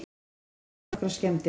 Urðu af því nokkrar skemmdir